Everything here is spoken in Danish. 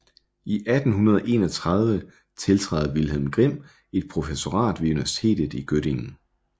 I 1831 tiltræder Wilhelm Grimm et professorat ved Universitet i Göttingen